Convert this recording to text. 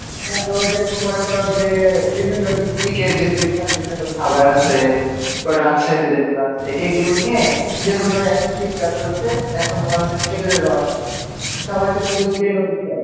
তো যেরকম মনে করো যে বিভিন্ন district-এ যে বিখ্যাত বিখ্যাত খাবার আছে তারপর রাজশাহীতে যেগুলো আছে এগুলো নিয়ে যেরকম ধরো এখন শীতকাল চলছে এখন তোমার হচ্ছে খেঁজুরের রস সবাই এটা তৃপ্তি করে এটা কেনেও ভাই